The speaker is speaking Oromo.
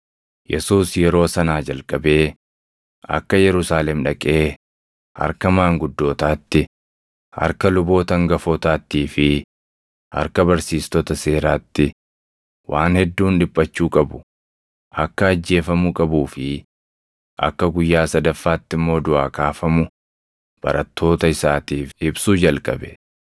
Yesuus yeroo sanaa jalqabee akka Yerusaalem dhaqee harka maanguddootaatti, harka luboota hangafootaattii fi harka barsiistota seeraatti waan hedduun dhiphachuu qabu, akka ajjeefamuu qabuu fi akka guyyaa sadaffaatti immoo duʼaa kaafamu barattoota isaatiif ibsuu jalqabe.